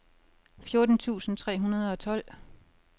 fjorten tusind tre hundrede og tolv